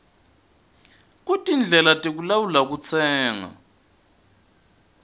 kutindlela tekulawula kutsenga